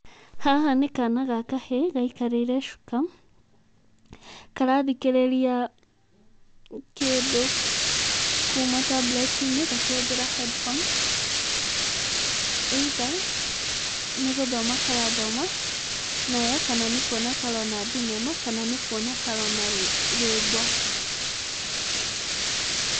Haha nĩ kana ga kahĩĩ gaikarĩire cuka, karathikĩrĩria kĩndũ kuma tablet-inĩ gakĩhũthĩra headphones, either nĩ gũthoma karathoma nayo kana nĩ kuona karona thinema kana nĩ kuona karona rwĩmbo.